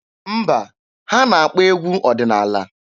Mba, ha na-akpọ egwu ọdịnaala.